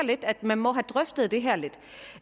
at man må have drøftet det her lidt